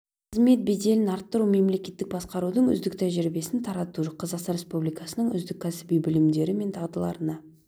қызмет беделін арттыру мемлекеттік басқарудың үздік тәжірибесін тарату қазақстан республикасының үздік кәсіби білімдері мен дағдыларына